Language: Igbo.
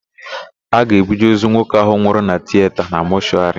A ga-ebuje ozu nwoke ahụ nwụrụ na tiyeta na mọshụarị.